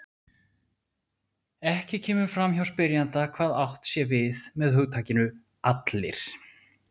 Ekki kemur fram hjá spyrjanda hvað átt sé við með hugtakinu allir.